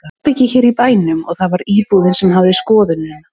Þetta var í herbergi hér í bænum og það var íbúinn sem hafði skoðunina.